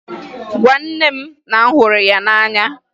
Gwa nne m na m hụrụ ya n'anya!